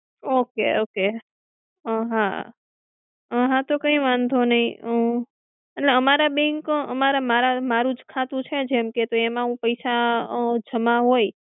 Okay Okay અ હાં, અ હાં, તો કઈ વાંધો નહીં. હું અને અમારા bank, અમારા મારા મારુ જ ખાતું છે જેમ કે તો એમાં હું પૈસા અ જમા હોય,